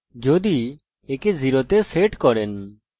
এটি সমস্ত error reporting বন্ধ করে দেবে